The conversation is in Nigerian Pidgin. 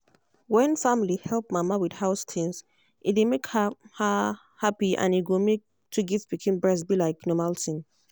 when family help mama with house things e dey make her her happy and e go make to give pikin breast be like normal tin